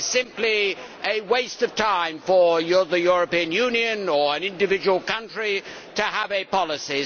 It is simply a waste of time for the European Union, or an individual country, to have a policy.